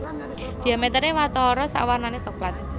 Diameteré watara sak warnané soklat